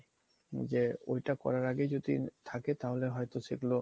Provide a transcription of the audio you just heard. যে এইটা করার আগে যদি থাকে তাহলে হয়তো সেগুলো